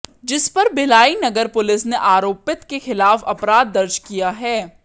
जिस पर भिलाई नगर पुलिस ने आरोपित के खिलाफ अपराध दर्ज किया है